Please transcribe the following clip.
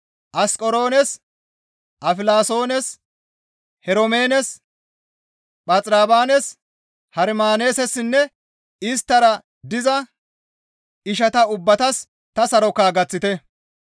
Asqeroones, Afilasoones, Heromeenes, Phaxirobaanes, Hermaanessinne isttara diza ishata ubbatas ta saroka gaththite.